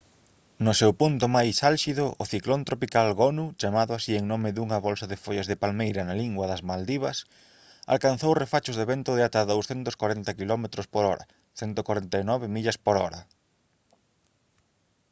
no seu punto máis álxido o ciclón tropical gonu chamado así en nome dunha bolsa de follas de palmeira na lingua das maldivas alcanzou refachos de vento de ata 240 quilómetros/hora 149 millas/hora